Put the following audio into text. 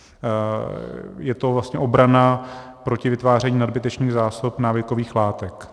Je to vlastně obrana proti vytváření nadbytečných zásob návykových látek.